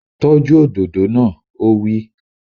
Tọ́jú òdòdó náà! Ó wí